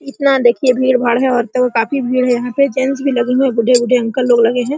इतना देखिए भीड़-भाड़ है औरतों का काफी भीड़ है यहां पे गेस्ट्स भी लगे हैं बूढ़े-बूढ़े अंकल लोग लगे हैं।